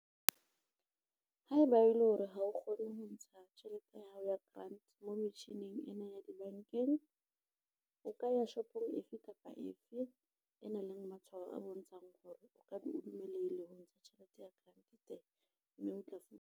Haeba e le hore ha o kgone ho ntsha tjhelete ya hao ya grant moo metjhining ena ya dibankeng, o ka ya shopong efe kapa efe e nang le matshwao a bontshang hore o dumelehile ho ntsha tjhelete ya grant teng mme o tla fumana.